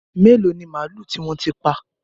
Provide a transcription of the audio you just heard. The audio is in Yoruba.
Mélòó ni màlúù tí wọ́n ti pa?